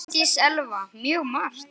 Þórdís Elva: Mjög margt.